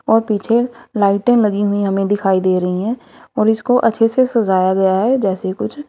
और पीछे लाइट लगी हुई हमें दिखाई दे रही है और इसको अच्छे से सजाया गया है जैसे कुछ--